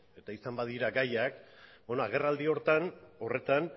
eta izan badira gaiak beno agerraldi horretan